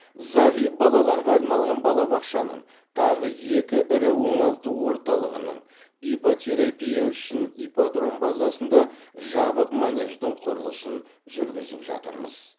зағип балаларға арналған балабақшаның тағы екі ірі оңалту орталығының иппотерапия үшін ипподром базасында жабық манеждің құрылысын жүргізіп жатырмыз